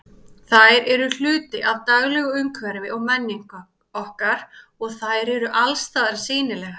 Þær eru hluti af daglegu umhverfi og menningu okkar og þær eru allsstaðar sýnilegar.